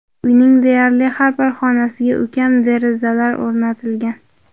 Uyning deyarli har bir xonasiga ulkan derazalar o‘rnatilgan.